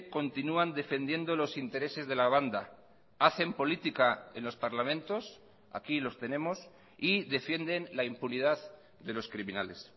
continúan defendiendo los intereses de la banda hacen política en los parlamentos aquí los tenemos y defienden la impunidad de los criminales